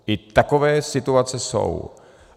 I takové situace jsou.